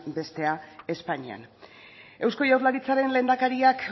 bestea espainian eusko jaurlaritzaren lehendakariak